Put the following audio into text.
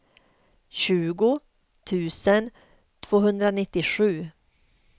tjugo tusen tvåhundranittiosju